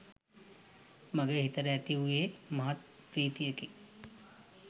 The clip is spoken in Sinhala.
මගේ සිතට ඇති වූයේ මහත් පී්‍රතියකි.